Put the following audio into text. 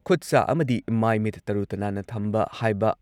ꯈꯨꯠꯁꯥ ꯑꯃꯗꯤ ꯃꯥꯏ ꯃꯤꯠ ꯇꯔꯨ-ꯇꯅꯥꯟꯅ ꯊꯝꯕ ꯍꯥꯢꯕ